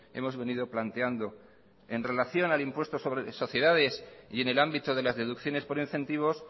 hemos venido planteando en relación al impuesto sobre sociedades y en el ámbito de las deducciones por incentivos